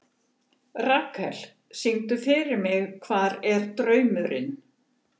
Rakel, syngdu fyrir mig „Hvar er draumurinn“.